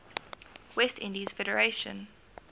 west indies federation